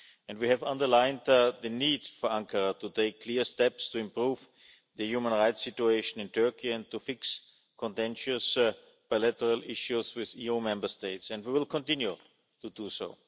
We have underlined the need for Ankara to take clear steps to improve the human rights situation in Turkey and to fix contentious bilateral issues with EU Member States, and we will continue to do so.